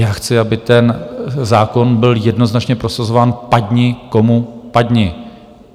Já chci, aby ten zákon byl jednoznačně prosazován, padni komu padni.